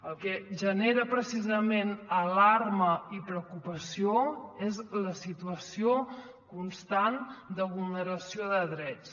el que genera precisament alarma i preocupació és la situació constant de vulneració de drets